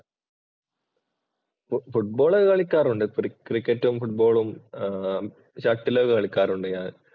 Football‍ കളിക്കാറുണ്ട്. ക്രിക്കറ്റും, ഫുട്ബോളും, ഷട്ടിലും ഒക്കെ കളിക്കാറുണ്ട് ഞാന്‍. ഒക്കെ കളിക്കാറുണ്ട് ഞാൻ